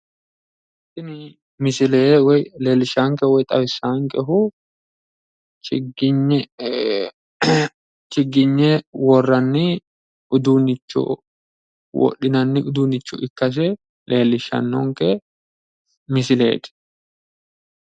Tini msile woy xawissaankehu leellishaankehu chigiyne worranni uduunnicho wodhinanni uduunnicho ikkase leellishannonke misileeti.